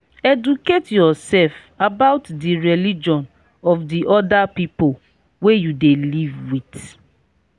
educate yourself about di religion of di oda pipo wey you dey live with